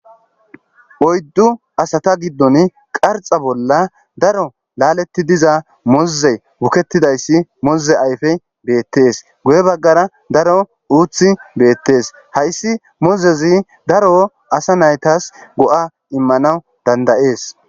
Oyddu asata giddon qarxa bolla daro laaleti diza moze wukettidayssi moze ayfe beettees goye baggara daro uuthi beettees hayssi mozezi daro asa naytas go'a immanawu dandayees.